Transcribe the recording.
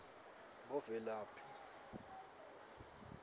bovelaphi